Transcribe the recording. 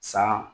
San